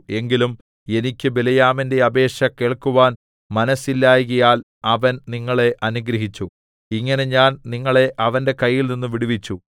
എങ്കിലും എനിക്ക് ബിലെയാമിന്റെ അപേക്ഷ കേൾക്കുവാൻ മനസ്സില്ലായ്കയാൽ അവൻ നിങ്ങളെ അനുഗ്രഹിച്ചു ഇങ്ങനെ ഞാൻ നിങ്ങളെ അവന്റെ കയ്യിൽനിന്ന് വിടുവിച്ചു